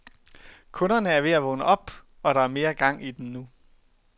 Kunderne er ved at vågne op, og der er mere gang i den nu.